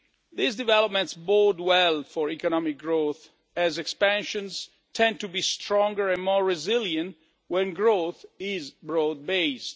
These developments bode well for economic growth, as expansions tend to be stronger and more resilient when growth is broad based.